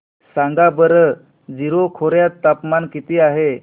सांगा बरं जीरो खोर्यात तापमान किती आहे